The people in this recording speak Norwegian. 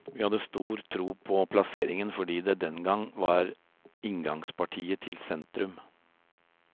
Vi hadde stor tro på plasseringen fordi det, den gang, var inngangspartiet til sentrum.